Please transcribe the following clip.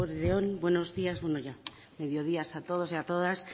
eguerdi on buenos días bueno ya mediodía a todos y a todas